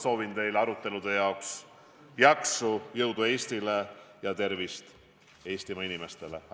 Soovin teile arutelude jaoks jaksu ning jõudu Eestile ja tervist Eestimaa inimestele!